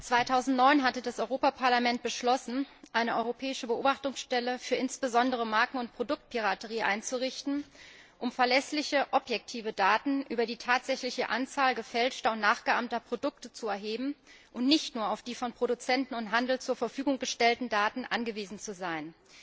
Im Jahr 2009 hatte das Europäische Parlament beschlossen, eine europäische Beobachtungsstelle insbesondere für Marken und Produktpiraterie einzurichten, um verlässliche objektive Daten über die tatsächliche Anzahl gefälschter und nachgeahmter Produkte zu erheben und nicht nur auf die von Produzenten und Handel zur Verfügung gestellten Daten angewiesen zu sein.